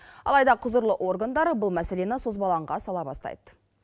алайда құзырлы органдар бұл мәселені созбалаңға сала бастайды